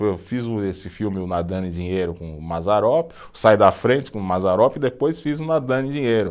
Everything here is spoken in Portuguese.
Eu fiz o esse filme, o Nadando em Dinheiro, com o Mazzaropi, o Sai da Frente com o Mazzaropi, e depois fiz o Nadando em Dinheiro.